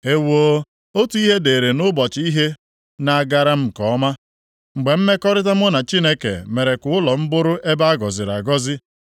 Ewoo, otu ihe dịịrị nʼụbọchị ihe na-agara m nke ọma, mgbe mmekọrịta mụ na Chineke mere ka ụlọ m bụrụ ebe a gọziri agọzi,